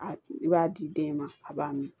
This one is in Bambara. A i b'a di den ma a b'a min